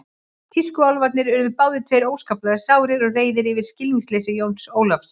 Tískuálfarnir urðu báðir tveir óskaplega sárir og reiðir yfir skilningsleysi Jóns Ólafs.